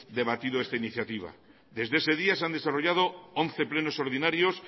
debatido esta iniciativa desde ese día se han desarrollado once plenos ordinarios